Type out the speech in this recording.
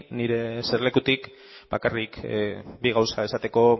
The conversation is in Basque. nire eserlekutik bakarrik bi gauza esateko